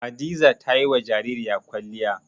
Hadiza ta yi wa jaririya kwalliya.